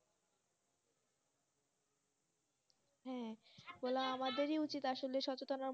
হ্যাঁ আমাদের এই উচিত আসলে সচেতনতা